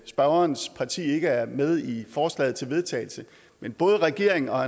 spørgerens parti ikke er med i forslaget til vedtagelse men både regeringen og